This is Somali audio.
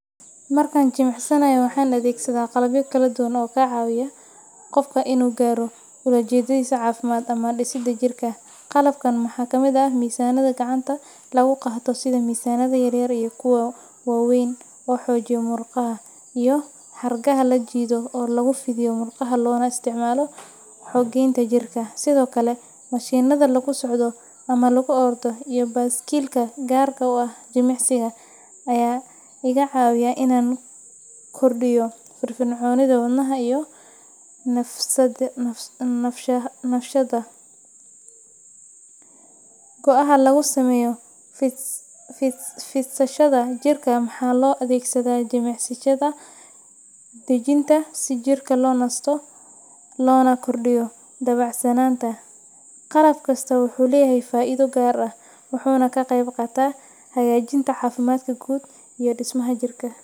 Markan jimicsanayo, waxaan adeegsadaa qalabyo kala duwan oo ka caawiya qofka inuu gaaro ulajeedadiisa caafimaad ama dhisidda jirka. Qalabkan waxaa ka mid ah miisaannada gacanta lagu qaato sida miisaanada yaryar iyo kuwa waaweyn oo xoojiya murqaha, iyo xargaha la jiido oo lagu fidiyo murqaha loona isticmaalo xoogeynta jirka. Sidoo kale, mashiinnada lagu socdo ama lagu ordo iyo baaskiilka gaarka u ah jimicsiga ayaa kaa caawinaya inaad kordhiso firfircoonida wadnaha iyo neefsashada. Go’aha lagu sameeyo fidsashada jirka waxaa loo adeegsadaa jimicsiyada dejinta si jirka loo nasto loona kordhiyo dabacsanaanta. Qalab kastaa wuxuu leeyahay faa’iido gaar ah, wuxuuna ka qeyb qaataa hagaajinta caafimaadka guud iyo dhismaha jirka.